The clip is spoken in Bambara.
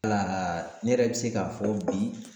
Wala ne yɛrɛ bɛ se k'a fɔ bi